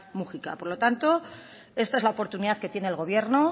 múgica por lo tanto esta es la oportunidad que tiene el gobierno